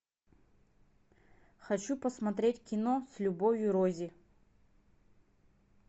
хочу посмотреть кино с любовью рози